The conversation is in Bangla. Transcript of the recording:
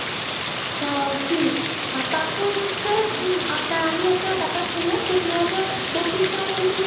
জি তারপরে হচ্ছে উম আপনার আমি একটা কথা শুনলাম দুহাজার পঁচিশ সাল থেকে